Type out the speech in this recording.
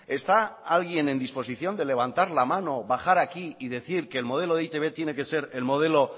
está alguien en disposición de levantar la mano bajar aquí y decir que el modelo de e i te be tiene que ser el modelo